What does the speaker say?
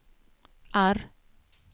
R